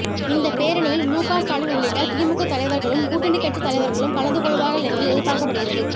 இந்த பேரணியில் முக ஸ்டாலின் உள்ளிட்ட திமுக தலைவர்களும் கூட்டணி கட்சித் தலைவர்களும் கலந்து கொள்வார்கள் என்று எதிர்பார்க்கப்படுகிறது